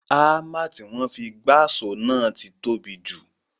Ámà tí wọ́n fi gbáṣọ̀ ti tóbi jù